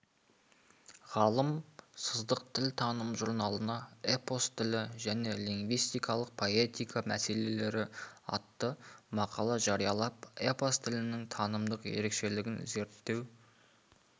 ғалым сыздық тілтаным журналына эпос тілі және лингвистикалық поэтика мәселелері атты мақала жариялап эпос тілінің танымдық ерекшелігін зерттеу